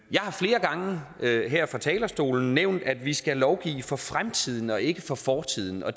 jeg har flere gange her fra talerstolen nævnt at vi skal lovgive for fremtiden og ikke for fortiden og